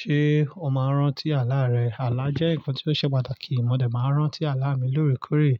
Ṣé o máa ń rántí àlá rẹ? Àlá jẹ́ nǹkan tó ṣe pàtàkì. Mo dè máa ń rántí àlá mi lóòrèkóòrè